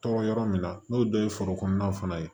Tɔɔrɔ yɔrɔ min na n'o dɔ ye foro kɔnɔna fana ye